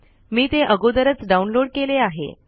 मी ते अगोदरच डाउनलोड केले आहे